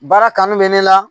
Baara kanu bɛ ne la